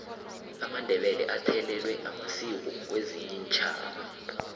amandebele athelelwe masiko wezinye iintjhaba